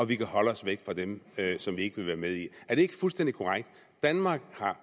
vi kan holde os væk fra dem som vi ikke vil være med i er det ikke fuldstændig korrekt at danmark har